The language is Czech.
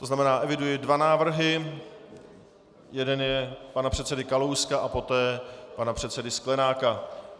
To znamená, eviduji dva návrhy - jeden je pana předsedy Kalouska a poté pana předsedy Sklenáka.